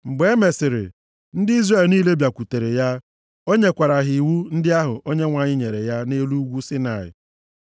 Mgbe e mesịrị, ndị Izrel niile bịakwutere ya. O nyekwara ha iwu ndị ahụ Onyenwe anyị nyere ya nʼelu ugwu Saịnaị.